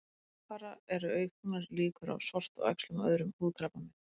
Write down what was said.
Samfara eru auknar líkur á sortuæxlum og öðrum húðkrabbameinum.